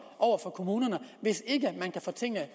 over for kommunerne hvis ikke man kan få tingene